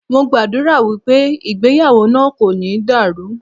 Mo gbàdúrà wípé ìgbéyàwó náà kò ní dàrú.